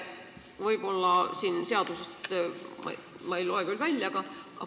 Ma eelnõust seda aga välja ei loe, kas kord läheb nüüd rangemaks.